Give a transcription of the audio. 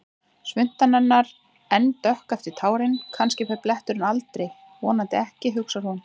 Svuntan hennar enn dökk eftir tárin, kannski fer bletturinn aldrei, vonandi ekki, hugsar hún.